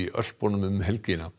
Ölpunum um helgina